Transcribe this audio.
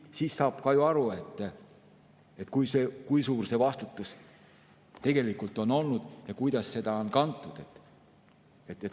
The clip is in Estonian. Siis saab ka ju aru, kui suur see vastutus tegelikult on olnud ja kuidas seda on kantud.